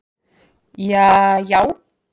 jaajá